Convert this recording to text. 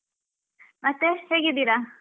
ಮತ್ತೆ ಹೇಗಿದ್ದೀರಾ?